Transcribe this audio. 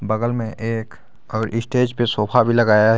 बगल में एक और स्टेज पे सोफा भी लगाया है।